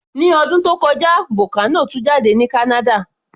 Ní ọdún tó kọjá, vocano tú jáde ní Canada